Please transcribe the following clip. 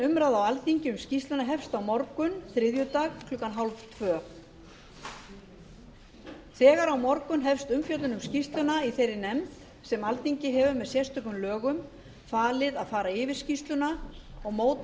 umræða á alþingi um skýrsluna hefst á morgun þriðjudag klukkan þrettán þrjátíu þegar á morgun hefst umfjöllun um skýrsluna í þeirri nefnd sem alþingi hefur með sérstökum lögum falið að fara yfir skýrsluna og móta